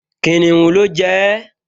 Kìnìún ló jẹ ẹ́